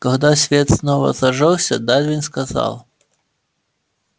когда свет снова зажёгся дарвин сказал